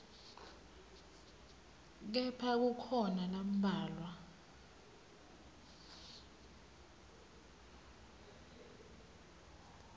kepha kukhona lambalwa